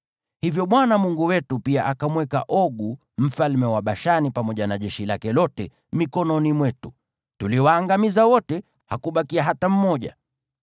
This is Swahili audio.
Hivyo Bwana Mungu wetu pia akamweka Ogu mfalme wa Bashani pamoja na jeshi lake lote mikononi mwetu. Tuliwaangamiza wote, hakubakia hata mmoja.